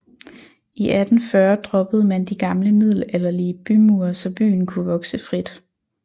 I 1840 droppede man de gamle middelalderlige bymure så byen kunne vokse frit